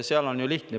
Seal on ju lihtne.